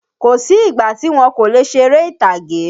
Kósì ìgbà tí wọn kò lè ṣeré ìtàgé.